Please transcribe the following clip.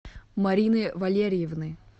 марины валерьевны